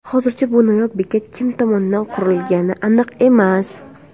Hozircha bu noyob bekat kim tomonidan qurilgani aniq emas.